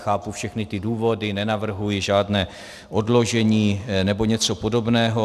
Chápu všechny ty důvody, nenavrhuji žádné odložení nebo něco podobného.